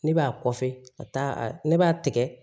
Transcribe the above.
Ne b'a kɔfɛ a t'a ne b'a tigɛ